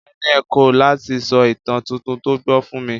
Helen kọ̀ láti sọ ìtàn tuntun tó gbọ́ fún mi.